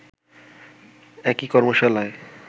একই কর্মশালায়